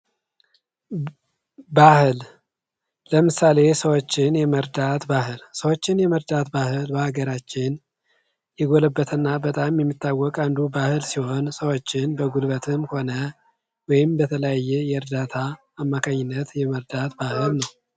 ባህል ለምሳሌ ሰዎችን የመርዳት ባህል ሰዎች የመርዳት ባህል በአገራችን የጎለበተና በጣም የሚታወቅ አንዱ ባህል ሲሆን ሰዎችን በጉልበትም ሆነ ወይም በተለያየ የእርዳታ አማካኝነት የመርዳት ባህል ነው።